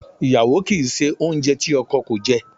Iyawo ki i se ounje ti oko ko je.